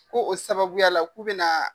Ko o sababuya la k'u bɛna.